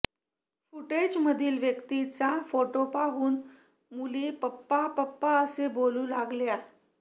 फूटेजमधील व्यक्तीचा फोटा पाहून मुली पापा पापा असे बोलू लागल्या